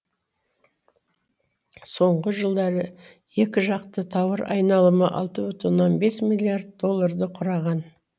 соңғы жылдары екіжақты тауар айналымы алты бүтін оннан бес миллиард долларды құраған